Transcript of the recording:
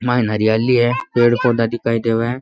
माइन हरियाली है पेड़ पौधा दिखाई देवे है।